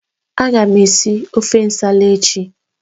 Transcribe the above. Agam esi ofe nsala echi.